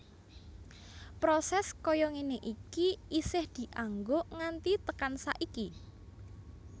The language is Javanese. Proses kaya ngene iki isih dianggo nganti tekan saiki